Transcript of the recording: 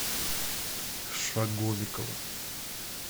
шаговикова